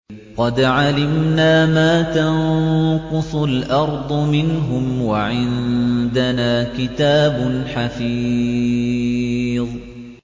قَدْ عَلِمْنَا مَا تَنقُصُ الْأَرْضُ مِنْهُمْ ۖ وَعِندَنَا كِتَابٌ حَفِيظٌ